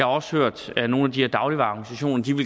også hørt at nogle af de her dagligvareorganisationer